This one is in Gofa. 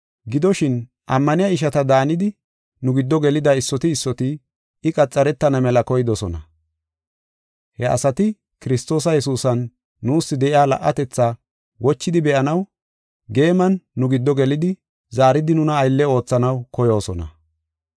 Gidoshin, ammaniya ishata daanidi nu giddo gelida issoti issoti I qaxaretana mela koydosona. He asati Kiristoos Yesuusan nuus de7iya la77atetha wochidi be7anaw geeman nu giddo gelidi zaaridi nuna aylle oothanaw koyoosona.